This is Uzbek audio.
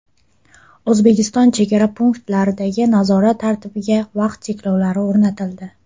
O‘zbekiston chegara punktlaridagi nazorat tartibiga vaqt cheklovlari o‘rnatildi.